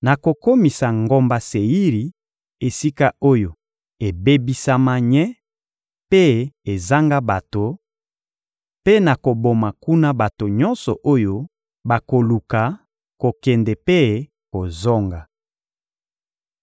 Nakokomisa ngomba Seiri esika oyo ebebisama nye mpe ezanga bato; mpe nakoboma kuna bato nyonso oyo bakoluka kokende mpe kozonga.